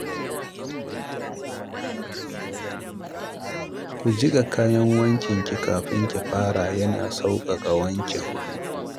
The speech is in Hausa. Ki jiƙa kayan wankinki kafin ki fara yana sauƙaƙa wankin